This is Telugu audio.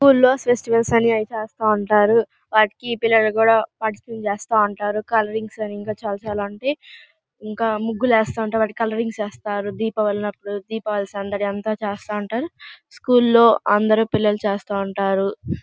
స్కూల్ లో ఫెస్టివల్స్ అని అవి చేస్తా ఉంటారు. వాటికి పిల్లలు కూడా పార్టిసిపేట్ చేస్తా ఉంటారు. కలరింగ్స్ అని ఇంకా చాలా చాలా వంటి ఇంకా ముగ్గులు వేస్తా ఉంటా వాటి కలరింగ్స్ ఇస్తారు. దీపావళి అప్పుడు దీపావళి సందడి అంత చేస్తా ఉంటారు. స్కూల్ లో పిల్లలు అందరూ చేస్తా ఉంటారు.